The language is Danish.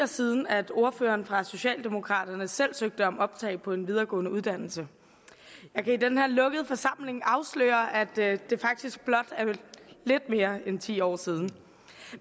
siden at ordføreren for socialdemokraterne selv søgte om optag på en videregående uddannelse jeg kan i den her lukkede forsamling afsløre at det faktisk blot er lidt mere end ti år siden